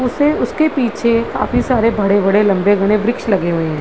उसे उस के पीछे काफी सरे भड़े - भड़े लम्बे घने वृक्ष लगे हुए हैं।